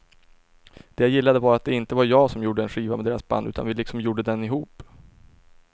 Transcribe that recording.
Det jag gillade var att det inte var jag som gjorde en skiva med deras band utan att vi liksom gjorde den ihop.